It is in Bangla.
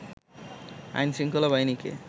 আইনশৃঙ্খলা বাহিনীকে